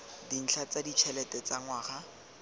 dintlha tsa ditšhelete tsa ngwaga